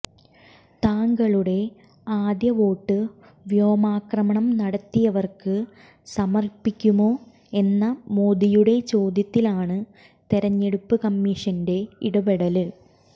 താങ്കളുടെ ആദ്യ വോട്ട് വ്യോമാക്രമണം നടത്തിയവര്ക്ക് സമര്പ്പിക്കുമോ എന്ന മോദിയുടെ ചോദ്യത്തിലാണ് തെരഞ്ഞെടുപ്പ് കമ്മിഷന്റെ ഇടപെടല്